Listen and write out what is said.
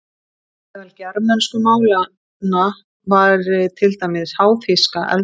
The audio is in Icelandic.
Meðal germönsku málanna væri til dæmis háþýska eldri.